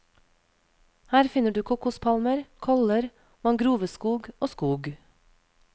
Her finner du kokospalmer, koller, mangroveskog og skog.